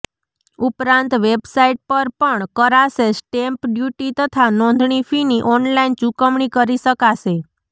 ઉપરાંત વેબસાઈટ પર પણ કરાશે સ્ટેમ્પ ડ્યૂટી તથા નોંધણી ફીની ઓનલાઇન ચુકવણી કરી શકાશે